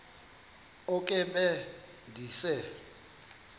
oko be ndise